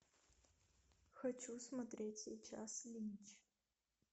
хочу смотреть сейчас линч